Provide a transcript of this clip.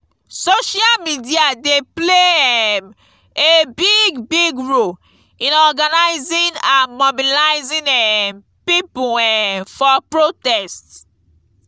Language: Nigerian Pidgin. social media dey play um a big big role in organizing and mobilizing um people um for protest.